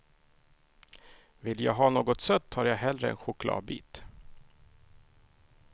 Vill jag ha något sött tar jag hellre en chokladbit.